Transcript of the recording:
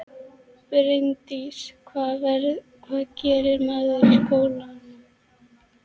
Bryndís: Hvað gerir maður í skólanum?